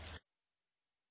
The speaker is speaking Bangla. আমরা এখন লেখার জন্য প্রস্তুত